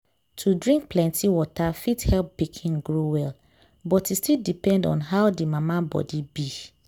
to drink plenty water fit help pikin grow well but e still depend on how the mama body be.